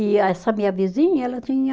E essa minha vizinha, ela tinha